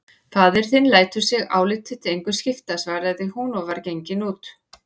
Faðir þinn lætur sig álit þitt engu skipta, svaraði hún og var gengin út.